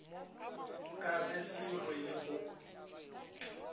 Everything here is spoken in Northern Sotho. ka ge se rwele go